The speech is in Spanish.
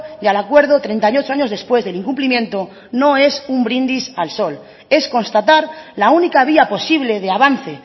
y al acuerdo treinta y ocho años después del incumplimiento no es un brindis al sol es constatar la única vía posible de avance